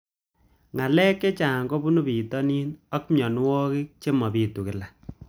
Ng'alek chechang' kopunu pitonin ako mianwogik che mapitu kila